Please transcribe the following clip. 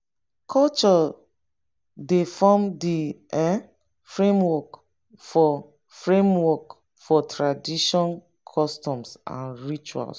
culture dey form di um framework for framework for tradition customs and rituals